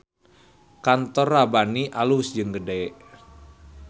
Kantor Rabbani alus jeung gede